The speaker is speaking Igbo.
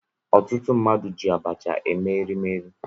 Ọtụtụ mmadụ ji abacha eme erimeri